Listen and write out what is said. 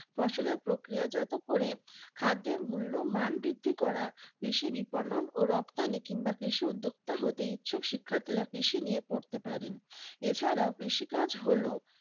ফসলের প্রক্রিয়াজাত করে খাদ্যের মূল্য মান বৃদ্ধি করা কৃষি বিপন্ন ও রপ্তানি কিংবা উদ্যোক্তা হতে ইচ্ছুক শিক্ষার্থীরা কৃষি নিয়ে পড়তে পারেন। এ ছাড়া কৃষিকাজ হল